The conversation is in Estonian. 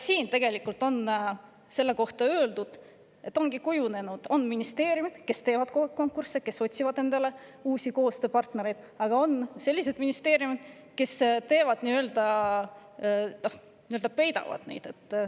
Selle kohta on ka öeldud, et ongi kujunenud nii, et on ministeeriumid, kes teevad konkursse ja otsivad endale uusi koostööpartnereid, aga on ka selliseid ministeeriume, kes neid nii-öelda peidavad.